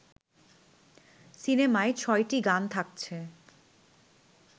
সিনেমায় ছয়টি গান থাকছে